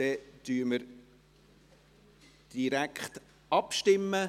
Somit stimmen wir direkt ab.